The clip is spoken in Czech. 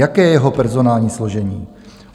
Jaké je jeho personální složení?